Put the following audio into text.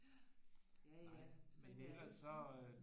Ja ja ja sådan er det